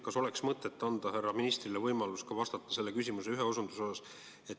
Kas oleks mõtet anda härra ministrile võimalus vastata ka selle küsimuse teisele osale?